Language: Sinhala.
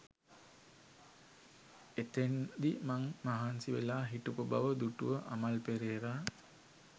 එතෙන්දි මං මහන්සි වෙලා හිටපු බව දුටුව අමල් පෙරේරා